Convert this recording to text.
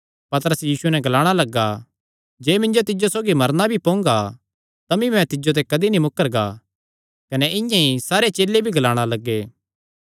पतरस यीशुये नैं ग्लाणा लग्गा जे मिन्जो तिज्जो सौगी मरना भी पोंगा तमी मैं तिज्जो ते कदी नीं मुकरना कने इआं ई सारे चेले भी ग्लाणा लग्गे